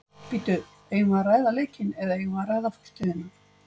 Bíddu eigum við að ræða leikinn eða eigum við að ræða fortíðina?